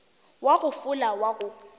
wa go fola wa go